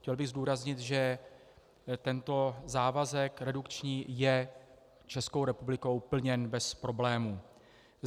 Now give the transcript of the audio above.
Chtěl bych zdůraznit, že tento závazek redukční je Českou republikou plněn bez problémů.